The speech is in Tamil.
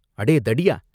அடே தடியா!